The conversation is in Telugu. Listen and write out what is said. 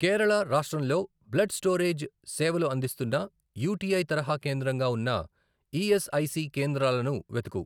కేరళ రాష్ట్రంలో బ్లడ్ స్టోరేజ్ సేవలు అందిస్తున్న యుటిఐ తరహా కేంద్రంగా ఉన్న ఈఎస్ఐసి కేంద్రాలను వెతుకు